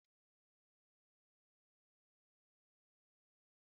Tomato akwọrọakwọ bụ ihe eji eri nri dị ụtọ